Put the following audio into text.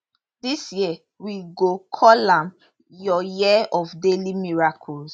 dis year we go call am your year of daily miracles